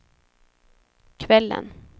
kvällen